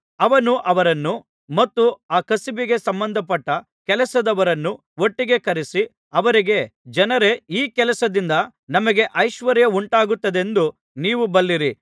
ಅವನು ಅವರನ್ನೂ ಮತ್ತು ಆ ಕಸುಬಿಗೆ ಸಂಬಂಧಪಟ್ಟ ಕೆಲಸದವರನ್ನೂ ಒಟ್ಟಿಗೆ ಕರೆಸಿ ಅವರಿಗೆ ಜನರೇ ಈ ಕೆಲಸದಿಂದ ನಮಗೆ ಐಶ್ವರ್ಯ ಉಂಟಾಗುತ್ತದೆಂದು ನೀವು ಬಲ್ಲಿರಿ